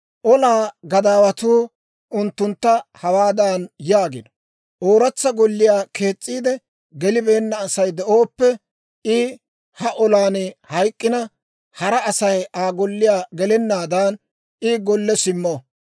«Olaa gadaawatuu unttuntta hawaadan yaagino; ‹Ooratsa golliyaa kees's'iide gelibeenna Asay de'ooppe, I ha olan hayk'k'ina, hara Asay Aa golliyaa gelennaadan, I golle simmo.